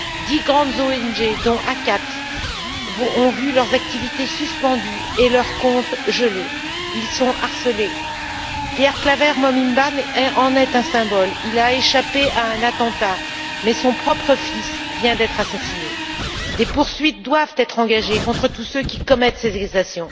Dix grandes ONG, dont ACAT, ont vu leurs activités suspendues et leurs comptes gelés. Elles sont harcelées. Pierre Claver Mbonimpa en est un symbole. Il a échappé à un attentat, mais son propre fils vient d'être assassiné. Des poursuites doivent être engagées contre tous ceux qui commettent ces exactions.